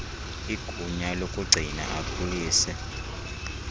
igunya lokugcina akhulise